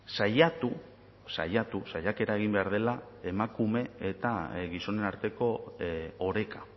saiatu saiatu saiakera egin behar dela emakume eta gizonen arteko oreka